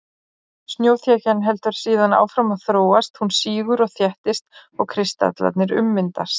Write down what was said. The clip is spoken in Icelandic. Snjóþekjan heldur síðan áfram að þróast, hún sígur og þéttist og kristallarnir ummyndast.